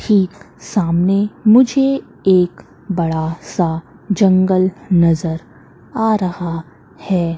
ठीक सामने मुझे एक बड़ा सा जंगल नजर आ रहा है।